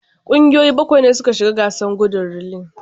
Kungiyoyi bakwai ne suka shiga gasar gudun relay.